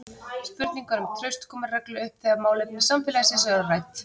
Spurningar um traust koma reglulega upp þegar málefni samfélagsins eru rædd.